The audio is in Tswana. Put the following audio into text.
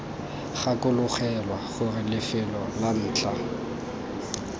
gakologelwa gore lefelo la ntlha